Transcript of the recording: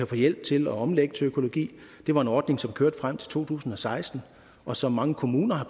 få hjælp til at omlægge til økologi det var en ordning som kørte frem til to tusind og seksten og som mange kommuner har